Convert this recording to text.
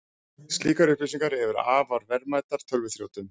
Slíkar upplýsingar eru afar verðmætar tölvuþrjótum